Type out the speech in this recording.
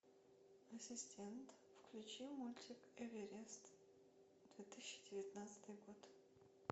ассистент включи мультик эверест две тысячи девятнадцатый год